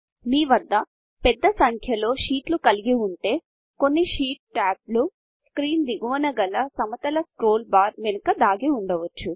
మీ వద్ద పెద్ద సంఖ్యలో షీట్లు కలిగి ఉంటే కొన్ని షీట్ టాబ్లు స్క్రీన్ దిగువన గల సమతల స్క్రోల్ బార్ వెనుక దాగి ఉండవచ్చు